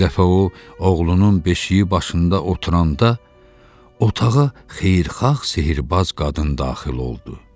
Bir dəfə o, oğlunun beşiği başında oturanda, otağa xeyirxah sehrbaz qadın daxil oldu.